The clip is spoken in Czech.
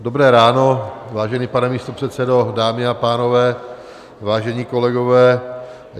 Dobré ráno, vážený pane místopředsedo, dámy a pánové, vážení kolegové.